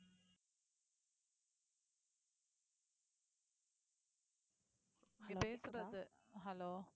நீங்க பேசுறது hello